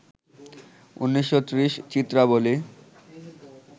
১৯৩০, চিত্রাবলী